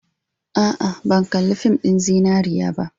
A'a, ban kalli fin ɗin Zinariya ba.